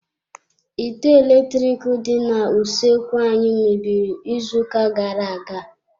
Ite eletrik dị n'usoekwu anyị mebiri izu ụka gara-aga.